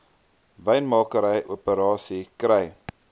wynmakery operasies kry